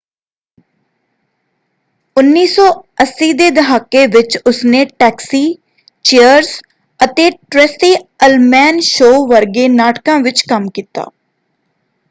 1980 ਦੇ ਦਹਾਕੇ ਵਿੱਚ ਉਸਨੇ ਟੈਕਸੀ ਚੀਅਰਸ ਅਤੇ ਟ੍ਰੇਸੀ ਅਲਮੈਨ ਸ਼ੋਅ ਵਰਗੇ ਨਾਟਕਾਂ ਵਿੱਚ ਕੰਮ ਕੀਤਾ।